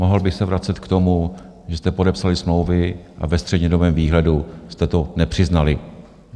Mohl bych se vracet k tomu, že jste podepsali smlouvy a ve střednědobém výhledu jste to nepřiznali.